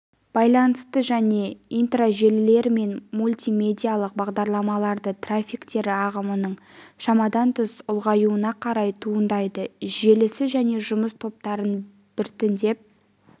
байланысты және интражелілер мен мультимедиалық бағдарламалардың трафиктері ағынының шамадан тыс ұлғаюына қарай туындайды желісі және жұмыс топтарын біртіндеп